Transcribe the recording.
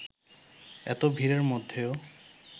এত ভিড়ের মধ্যেও